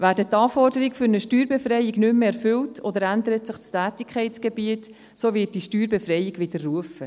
Werden die Anforderungen für eine Steuerbefreiung nicht mehr erfüllt, oder ändert sich das Tätigkeitsgebiet, so wird die Steuerbefreiung widerrufen.